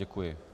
Děkuji.